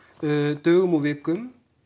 dögum og vikum